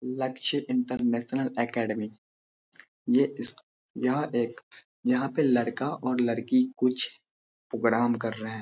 लक्ष्य international academy ये स्क यह एक यहाँ पे लड़का और लड़की कुछ पोगराम कर रहे हैं।